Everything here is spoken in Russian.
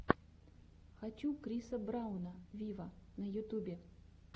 хочу криса брауна виво на ютубе